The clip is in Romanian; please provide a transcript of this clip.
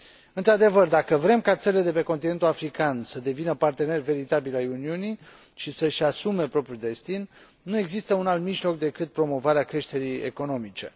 Într adevăr, dacă vrem ca țările de pe continentul african să devină parteneri veritabili ai Uniunii și să și asume propriul destin, nu există un alt mijloc decât promovarea creșterii economice.